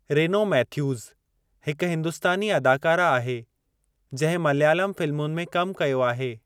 Reno Mathews हिकु हिंदुस्तानी अदाकारा आहे जंहिं मलयालम फ़िलमुनि में कमु कयो आहे।